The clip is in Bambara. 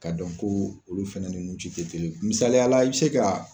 K'a dɔn ko olu fɛnɛ ni nu ci te kelen ye misaliya i be se ka